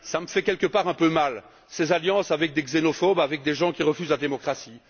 Ça me fait quelque part un peu mal, ces alliances avec des xénophobes, avec des gens qui refusent la démocratie.